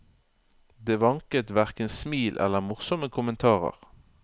Det vanket hverken smil eller morsomme kommentarer.